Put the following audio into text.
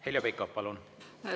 Heljo Pikhof, palun!